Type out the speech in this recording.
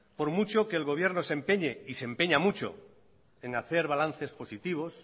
por mucho que el gobierno se empeñe y se empeña mucho en hacer balances positivos